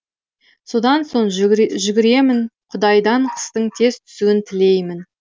содан соң жүгіремін құдайдан қыстың тез түсуін тілеймін